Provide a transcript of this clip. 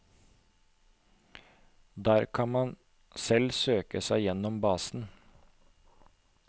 Der kan man selv søke seg gjennom basen.